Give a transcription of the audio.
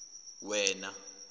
wena